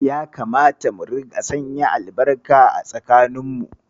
Ya kamata mu rika sanya albarka a tsakaninmu.